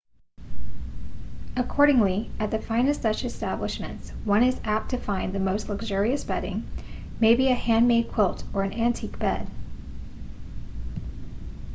accordingly at the finest such establishments one is apt to find the most luxurious bedding maybe a handmade quilt or an antique bed